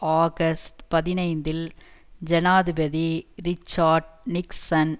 August பதினைந்தில் ஜனாதிபதி Richard Nixon